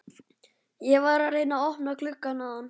Ég var að reyna að opna gluggann áðan.